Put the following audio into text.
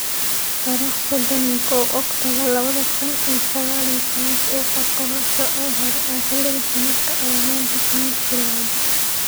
Tarikh sodan iyo kow Oktoobar lawadha kun iyo saqal iyo tawan Suuqa kolosho ee hore ee xilliga sanadkan ayaa maanta Khamiis bilowday.